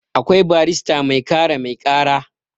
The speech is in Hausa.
akwai barrista mai kare mai kara